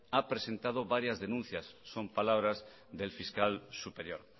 ha presentado varias denuncias son palabras del fiscal superior